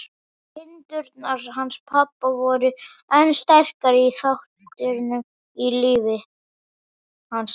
Kindurnar hans pabba voru einn sterkasti þátturinn í lífi hans.